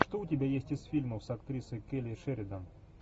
что у тебя есть из фильмов с актрисой келли шеридан